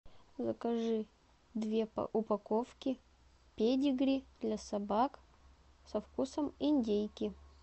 закажи две упаковки педигри для собак со вкусом индейки